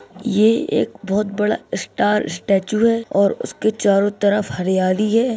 ये एक बहुत बड़ा स्टार स्टैचू है और उसके चारों तरफ हरयाली है ।